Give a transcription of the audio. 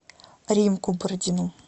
римку бородину